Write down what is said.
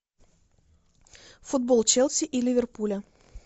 футбол челси и ливерпуля